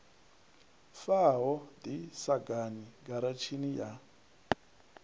faho ḓi sagani giratshini ya